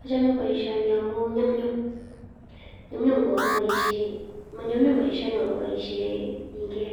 Achame boisioni amun nyumnyum, nyumnyum kokakiboisien tinget